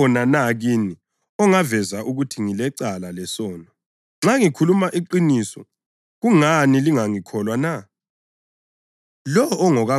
Ukhona na kini ongaveza ukuthi ngilecala lesono? Nxa ngikhuluma iqiniso kungani lingangikholwa na?